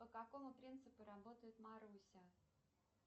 по какому принципу работает маруся